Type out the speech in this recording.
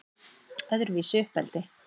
Öðruvísi uppeldi